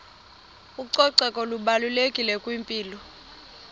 ucoceko lubalulekile kwimpilo